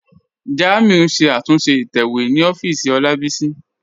Jàmíù n ṣẹ̀ àtúnṣe ìtẹ̀wẹ̀ ni òfìísì Olábísí.